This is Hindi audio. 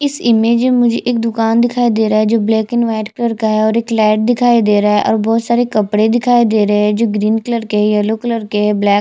इस इमेज में एक दुकान दिखाई दे रहा है जो ब्लैक एंड व्हाइट कलर का है एक लाइट दिखाई दे रहा है और बहुत सारे कपड़े दिखाई दे रहै है जो ग्रीन कलर के है येलो कलर के है ब्लैक --